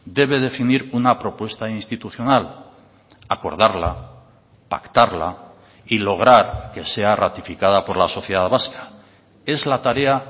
debe definir una propuesta institucional acordarla pactarla y lograr que sea ratificada por la sociedad vasca es la tarea